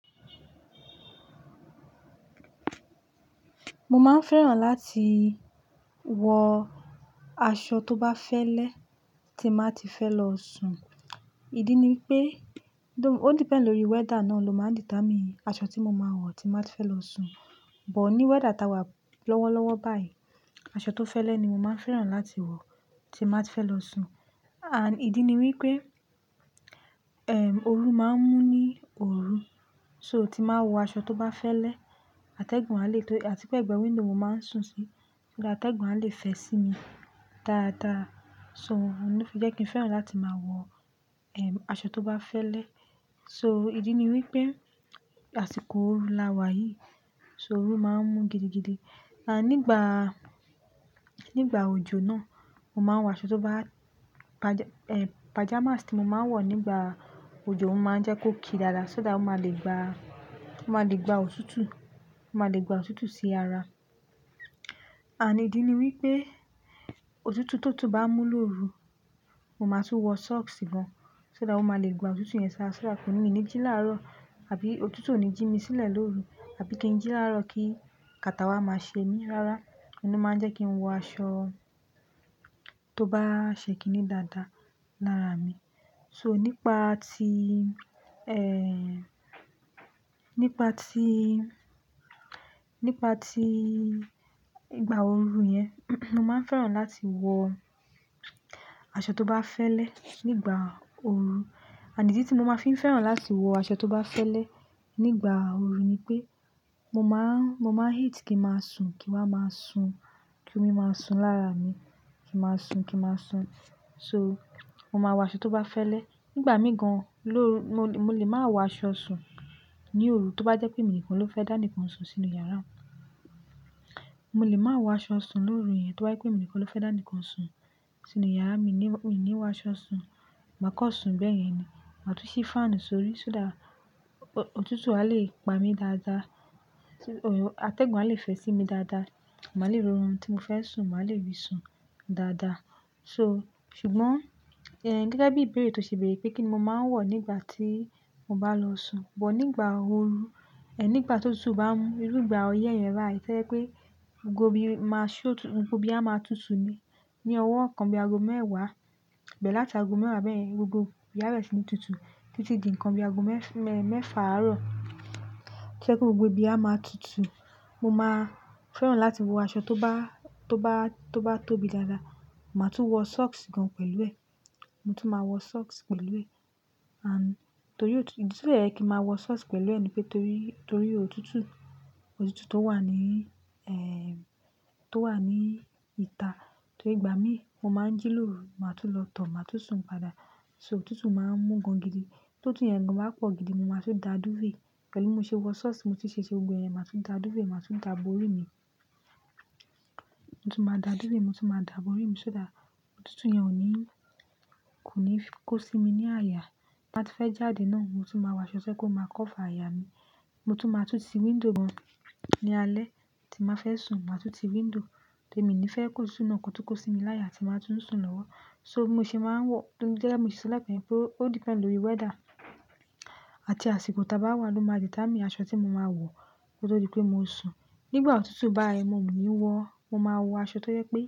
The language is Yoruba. Mo máa ń fẹ́ràn láti wọ aṣọ tó bá fẹ́lẹ́ tí máa ti fẹ́ lọ sùn. Ìdí ni pé, ó depend lórí weather náà ló máa determine aṣọ tí mo máa wọ̀ tí máa fẹ́ lọ sùn. But ní weather táa wà lọ́wọ́lọ́wọ́ báyìí, aṣọ tó fẹ́lẹ́ ni mo máa ń fẹ́ràn láti wọ̀ tí máa fẹ́ lọ sùn. And ìdí ni wípé, ẹ̀m, oru máa ń mú ní òru, so tí máa wọ aṣọ tó bá fẹ́lẹ́, atẹ́gùn a lè tó-- àti pé ẹ̀gbẹ́ window máa ń sùn sí, so that atẹ́gùn a lè fẹ́ sí mi dáadáa. So, ohun tó fi jẹ́ kí n fẹ́ràn láti máa wọ, ẹ̀m, aṣọ tó bá fẹ́lẹ́. So, ìdí ni wípé àsìkò òru la wà yìí, so oru máa ń mú gidigidi. Ànd nígbà, nígbà òjò náà, mo máa ń wọ aṣọ tó bá-- paja, ẹ̀, pajamas tí mo máa ń wọ̀ nígbà òjò máa ń jẹ́ kó kí dáadáa so that ó máa le gba, ó máa le gba òtútù, ó máa le gba òtútù sí ara. Ànd idí ni wípé òtútù tótù bá mú lóru, mo máa tún wọ socks gan so that ó máa le gba òtútù yẹn ṣá, ṣá, kó ni mí ní jí láàárọ̀, àbí òtútù ò ní jí mi sílẹ̀ lóru, àbí kí n jí láàárọ̀ kí catarrh wa máa ṣe mí. Rárá, ọ̀nà tó máa ń jẹ́ kí n wọ aṣọ tó bá ṣẹ́kinní dáadáa lára mi. So, nípa ti, ẹẹ́ẹ́, nípa ti, nípa ti ìgbà òru yẹn, mo máa ń fẹ́ràn láti wọ aṣọ tó bá fẹ́lẹ́ nígbà òru. Ànd ídí tí mo máa fi ń fẹ́ràn láti wọ aṣọ tó bá fẹ́lẹ́ nígbà òru ni pé mo máa ń, mo máa hate kí n máa sùn, kí wá máa sùn, kí omi máa sùn lára mi, kí n máa sùn, kí n máa sùn. So, mo máa wọ aṣọ tó bá fẹ́lẹ́. Nígbà mìí gan lóru, mo lè, mo lè máa wọ aṣọ sùn ní òru tí ó bá jẹ́ pé èmi nìkan mo fẹ́ dá nìkan sùn sínú yàrá. Mo lè máa wọ aṣọ sùn lóru yẹn tí wá bá jẹ́ pé èmi nìkan ló fẹ́ dá nìkan sùn sínú yàrá. Mi ní, mi ní wọ aṣọ sùn, màá kọ́ sùn bẹ́ẹ̀ yẹn ni. Màá tún ṣí fan sórí so that òtútù a lè pa mí dáadáa, t-- òro, atẹ́gùn a lè fẹ́ sí mi dáadáa. Màá le rí orun tí mo fẹ́ sùn, màá le rí i sùn dáadáa. So, ṣùgbọ́n, ẹ̀m, gẹ́gẹ́ bí ìbéèrè tó ṣe béèrè pé kí ni mo máa ń wọ̀ nígbà tí mo bá lọ sùn. But nígbà òru, ẹ̀, nígbà ti òtútù bá mú, irú ìgbà ọyẹ́ yẹn bayii, to je pé gbogbo ibi máa ṣọ́ òtútù, gbogbo ibi a máa tutù ni. Ni ọwọ́ kan bí aago mẹ́wàá, bẹ̀ láti aago mẹ́wàá bẹ́ẹ̀ yẹn, gbogbo ibi ara mi tutù títí di nǹkan bí aago mẹ́ẹ́fà àárọ̀. To jẹ̀ pé gbogbo ibi a máa tutù, mo máa fẹ́ràn láti wọ aṣọ tó bá, tó bá, tó bá tóbi dáadáa. Mo máa tún wọ socks gan pẹ̀lú ẹ̀, mo tún máa wọ socks pẹ̀lú ẹ̀. And torí òtútù, ìdí tí ó tẹ́ je kí ma wọ socks pẹ̀lú ẹ̀ ni pé torí, torí òtútù, òtútù tó wà ní, ẹẹ́ẹ́, tó wà ní ìta, torí ìgbà mí mo máa ń jí lóru, màá tún lọ tọ̀, màá tún sùn padà. So, òtútù máa ń mú gan gidi. Tó tutú yẹn gan bá pọ̀ gidi, mo máa tún da duvet. Pẹ̀lú tí mo ṣe wọ socks, mo ti ṣèṣe gbogbo ẹ̀yẹn, màá tún da dúvet màá tún da bori mi. Mo tún máa da dúvet, mo tún máa da bori mi so that òtútù yẹn ò ní, kò ní kó sí mi ní àyà. Bí a bá ti fẹ́ jáde náà, mo tún máa wọ aṣọ so kó máa cover àyà mi. Mo tún máa tún ti window gan ní alẹ́ tí màá fẹ́ sùn. Mo máa tú ti window torí èmi ni fẹ́ kó sùn náà kò tún kó sí mi láyà tí màá tún sùn lọ́wọ́. So, mo ṣe máa ń wọ-- torí ó tẹ́lẹ̀ mó ṣe sọ lẹ́yìn ẹ pé ó depend lórí weather àti àsìkò táa bá wà ló máa determine aṣọ tí mo máa wọ̀ tí ó dipe mo sùn. Nígbà òtútù bá yii ẹ, mo --mo máa wọ aṣọ tó yẹ pé.